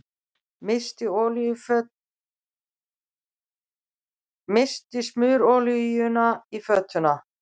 Missti smurolíuna í götuna